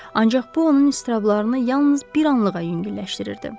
Ancaq bu onun iztirablarını yalnız bir anlığa yüngülləşdirirdi.